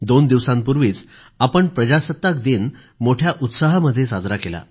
दोन दिवसांपूर्वींच आपण प्रजासत्ताक दिन मोठ्या उत्साहामध्ये साजरा केला